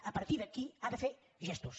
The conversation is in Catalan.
a partir d’aquí ha de fer gestos